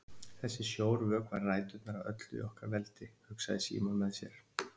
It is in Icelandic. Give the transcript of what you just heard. Þessi sjór vökvar ræturnar að öllu okkar veldi, hugsaði Símon með sér.